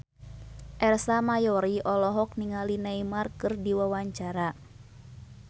Ersa Mayori olohok ningali Neymar keur diwawancara